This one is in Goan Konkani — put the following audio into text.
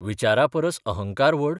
विचारा परस अहंकार व्हड?